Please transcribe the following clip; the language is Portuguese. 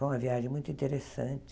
Foi uma viagem muito interessante.